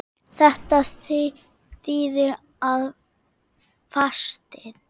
Þetta þýðir að fastinn